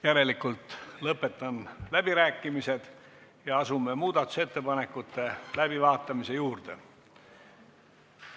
Järelikult lõpetan läbirääkimised ja asume muudatusettepanekute läbivaatamise juurde.